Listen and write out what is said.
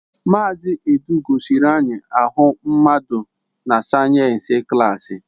Mazị Edu gosiri anyị ahụ mmadụ na sayensi klaasi.